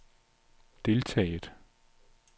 deltaget